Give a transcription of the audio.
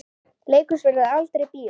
Leikhús verður aldrei bíó.